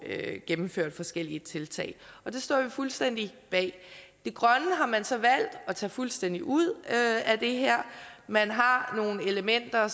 gennemført forskellige tiltag og det står vi fuldstændig bag det grønne har man så valgt at tage fuldstændig ud af det her man har nogle elementer